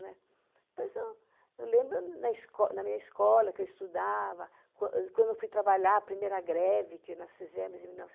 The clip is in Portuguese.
Né? Depois eu eu lembro na esco na minha escola, que eu estudava, quando eu fui trabalhar, a primeira greve que nós fizemos em mil